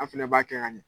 An fɛnɛ b'a kɛ ka ɲɛ